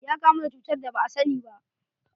Ya kamu da cutar da ba asani ba.